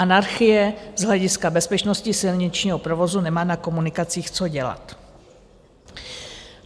Anarchie z hlediska bezpečnosti silničního provozu nemá na komunikacích co dělat.